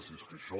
si és que això